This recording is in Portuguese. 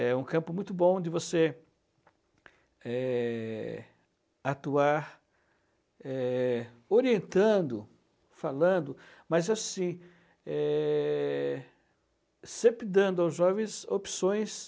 É um campo muito bom de você é, atuar é, orientando, falando, mas assim, é, sempre dando aos jovens opções